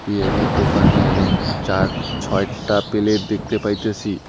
বিরিয়ানির দোকানে চার ছয়টা পেলেট দেখতে পাইতেসি।